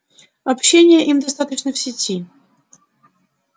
общения им достаточно в сети